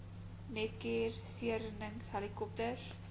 netcare seereddings helikopters